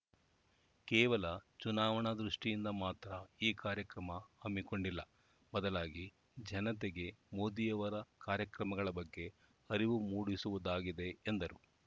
ಕೇವಲ ಚುನಾವಣಾ ದೃಷ್ಟಿಯಿಂದ ಮಾತ್ರ ಈ ಕಾರ್ಯಕ್ರಮ ಹಮ್ಮಿಕೊಂಡಿಲ್ಲ ಬದಲಾಗಿ ಜನತೆಗೆ ಮೋದಿಯವರ ಕಾರ್ಯಕ್ರಮಗಳ ಬಗ್ಗೆ ಅರಿವು ಮೂಡಿಸುವುದಾಗಿದೆ ಎಂದರು